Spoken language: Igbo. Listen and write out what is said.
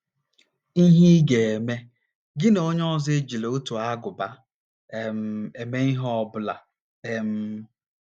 IHE Ị GA - EME: Gị na onye ọzọ ejila otu ágụbá um eme ihe ọ bụla um.